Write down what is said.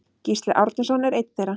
Gísli Árnason er einn þeirra.